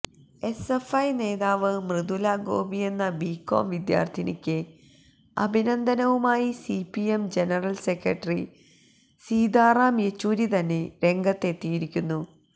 SFI നേതാവ് മൃദുല ഗോപിയെന്ന B Com വിദ്യാര്ത്ഥിനിക്ക് അഭിനന്ദനവുമായി CPM general secretary Sitaram Yechury തന്നെ രംഗത്ത് എത്തിയിരിക്കുന്നു